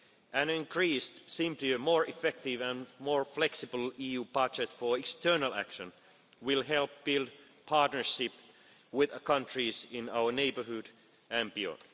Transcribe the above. billion. An increased, simpler more effective and more flexible EU budget for external action will help build partnership with the countries in our neighbourhood and